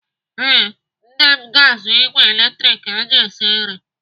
Ee, nne m ga-azụ ìgwè latrik eji esi nri.